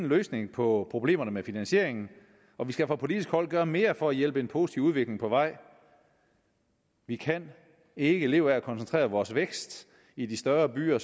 løsning på problemerne med finansieringen og vi skal fra politisk hold gøre mere for at hjælpe en positiv udvikling på vej vi kan ikke leve af at koncentrere vores vækst i de større byer